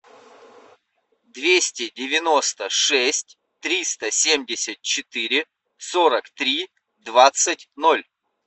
двести девяносто шесть триста семьдесят четыре сорок три двадцать ноль